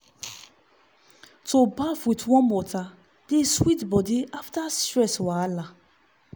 to baff with warm water dey sweet body after stress wahala.